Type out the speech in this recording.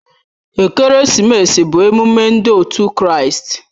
Ekeresimesi bụ emume ndị òtù Kraịst